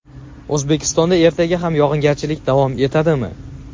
O‘zbekistonda ertaga ham yog‘ingarchilik davom etadimi?.